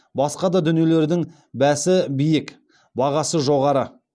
басқа да дүниелердің бәсі биік бағасы жоғары